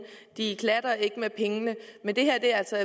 de klatter ikke med pengene men det her er altså